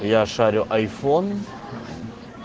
я шарю айфон